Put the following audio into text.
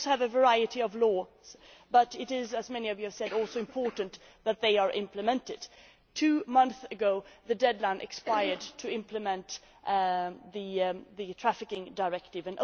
We also have a variety of laws but it is, as many of you have said, also important that they are implemented. Two months ago, the deadline expired for implementing the Trafficking Directive.